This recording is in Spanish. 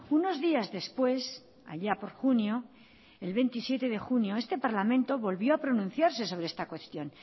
unos días después allá por junio el veintisiete de junio este parlamento volvió a pronunciarse sobre esta cuestión